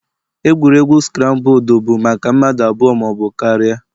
Egwuregwu scrambled bụ maka mmadụ abụọ ma ọ bụ karịa